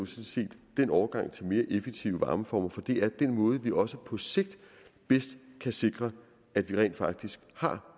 den overgang til mere effektive varmeformer for det er den måde hvorpå vi også på sigt bedst kan sikre at vi rent faktisk har